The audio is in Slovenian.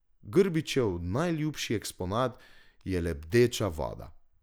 Grbičev najljubši eksponat je lebdeča voda.